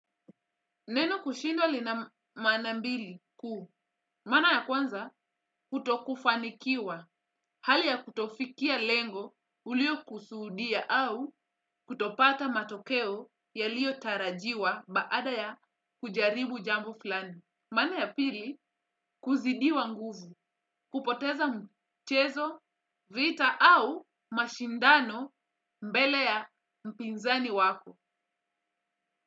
Neno kushindwa lina maana mbili kuu. Maana ya kwanza, kutokufanikiwa. Hali ya kutofikia lengo ulio kusuudia au kutopata matokeo yalio tarajiwa baada ya kujaribu jambo fulani. Mana ya pili kuzidiwa nguvu. Kupoteza mchezo, vita au mashindano mbele ya mpinzani wako.